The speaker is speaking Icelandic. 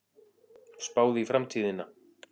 Spáð í framtíðina